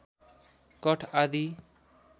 कठ आदि